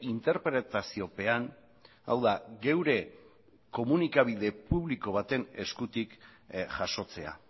interpretaziopean hau da geure komunikabide publiko baten eskutik jasotzea